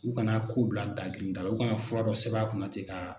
U kana a ko bila daagirindala u ka na fura dɔ sɛbɛn a kunna ten ka